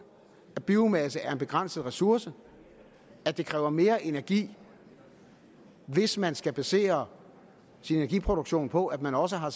at biomasse er en begrænset ressource at det kræver mere energi hvis man skal basere sin energiproduktion på at man også har